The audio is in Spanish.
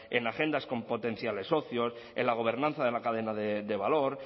en agendas con potenciales socios en la gobernanza de la cadena de valor